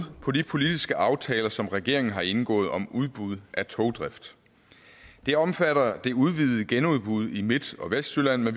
på de politiske aftaler som regeringen har indgået om udbud af togdrift det omfatter det udvidede genudbud i midt og vestjylland